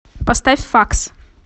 поставь факс